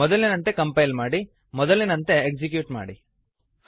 ಮೊದಲಿನಂತೆ ಕಂಪೈಲ್ ಮಾಡಿ ಮೊದಲಿನಂತೆ ಎಕ್ಸಿಕ್ಯೂಟ್ ಮಾಡಿ